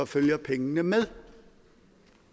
følger pengene med